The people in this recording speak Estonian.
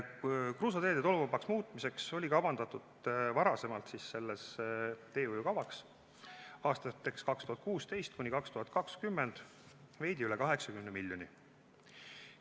Kruusateede tolmuvabaks muutmiseks oli varem selles teehoiukavas kavandatud aastateks 2016–2020 veidi üle 80 miljoni euro.